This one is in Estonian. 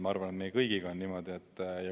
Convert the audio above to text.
Ma arvan, et meie kõigiga on niimoodi.